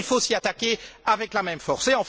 Oui, il faut s'y attaquer avec la même force.